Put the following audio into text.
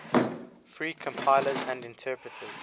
free compilers and interpreters